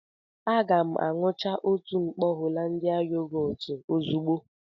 Aga m aṅucha otu mkpọ Hollandia yogọọtu ozugbo